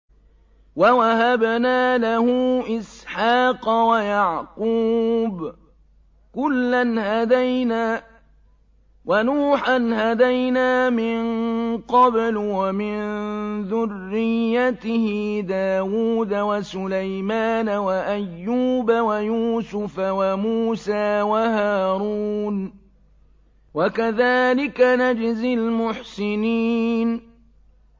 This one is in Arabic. وَوَهَبْنَا لَهُ إِسْحَاقَ وَيَعْقُوبَ ۚ كُلًّا هَدَيْنَا ۚ وَنُوحًا هَدَيْنَا مِن قَبْلُ ۖ وَمِن ذُرِّيَّتِهِ دَاوُودَ وَسُلَيْمَانَ وَأَيُّوبَ وَيُوسُفَ وَمُوسَىٰ وَهَارُونَ ۚ وَكَذَٰلِكَ نَجْزِي الْمُحْسِنِينَ